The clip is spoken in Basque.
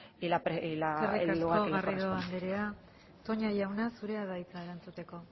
que le corresponde eskerrik asko garrido anderea toña jauna zurea da hitza